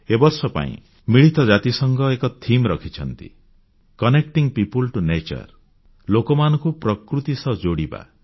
ଏ ବର୍ଷ ପାଇଁ ମିଳିତ ଜାତିସଂଘ ଏକ ବିଷୟବସ୍ତୁ ଥିମ୍ ରଖିଛନ୍ତି କନେକ୍ଟିଂ ପିଓପଲ୍ ଟିଓ ନ୍ୟାଚର ଲୋକମାନଙ୍କୁ ପ୍ରକୃତି ସହ ଯୋଡ଼ିବା